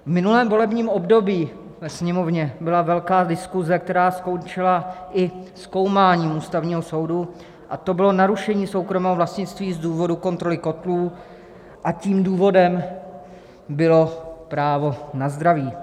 V minulém volebním období ve Sněmovně byla velká diskuze, která skončila i zkoumáním Ústavního soudu, a to bylo narušení soukromého vlastnictví z důvodu kontroly kotlů, a tím důvodem bylo právo na zdraví.